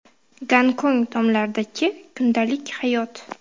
Gonkong tomlaridagi kundalik hayot .